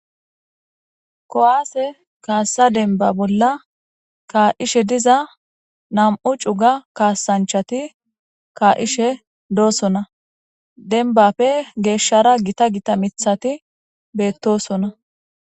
Kuwaase kaassa denba bolla kaa7ishe diza nam7u cuga kaasanchati kaa7ishe doosona denbappe geeshshara gita gita mithati beettosona.